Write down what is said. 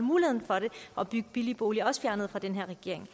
og at bygge billige boliger også er fjernet af den her regering